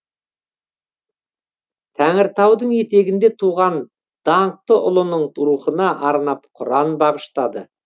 тәңіртаудың етегінде туған даңқты ұлының рухына арнап құран бағыштады